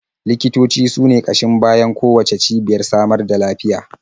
Likitoci su ne ƙashin bayan kowacce cibiyar samar da lafiya.